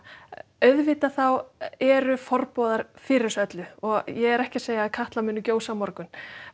auðvitað þá eru fyrir þessu öllu og ég er ekki að segja að Katla muni gjósa á morgun